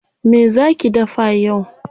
Me zaa ki dafa yau?